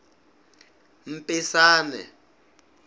mpisane